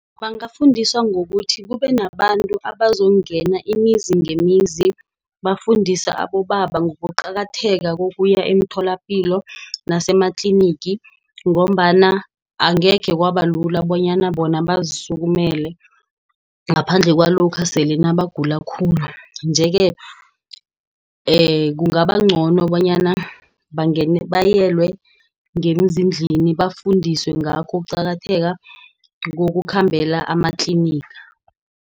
Bangafundiswa ngokuthi kubenabantu abazongena imizi ngemizi, bafundise abobaba ngokuqakatheka kokuya emitholapilo nasematlinigi ngombana angekhe kwabalula bonyana bona bazisukumele. Ngaphandle kwalokha sele nabagula khulu, nje-ke kungabancono bonyana bayelwe ngezindlini bafundiswe ngakho ukuqakatheka ngokukhambela amatliniga.